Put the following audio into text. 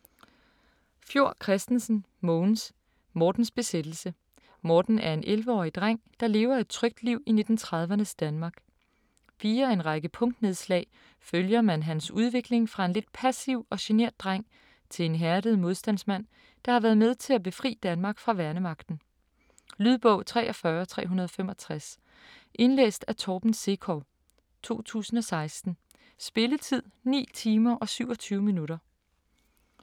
Fjord Christensen, Mogens: Mortens besættelse Morten er en 11-årig dreng der levet et trygt liv i 1930'ernes Danmark. Via en række punktnedslag følger man hans udvikling fra en lidt passiv og genert dreng til en hærdet modstandsmand der har været med til at befri Danmark fra værnemagten. Lydbog 43365 Indlæst af Torben Sekov, 2016. Spilletid: 9 timer, 27 minutter.